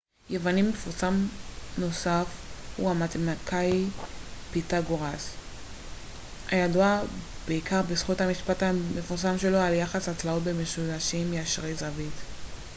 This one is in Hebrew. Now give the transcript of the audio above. יווני מפורסם נוסף הוא המתמטיקאי פיתגורס הידוע בעיקר בזכות המשפט המפורסם שלו על יחס הצלעות במשולשים ישרי זווית